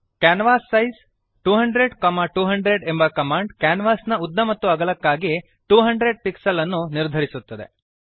canvas size 200200 ಎಂಬ command ಕ್ಯಾನ್ವಾಸಿನ ಉದ್ದ ಮತ್ತು ಅಗಲಕ್ಕಾಗಿ 200 ಪಿಕ್ಸೆಲ್ಸ್ ಅನ್ನು ನಿರ್ಧರಿಸುತ್ತದೆ